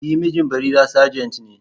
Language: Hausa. E, mijin Barira sajent ne.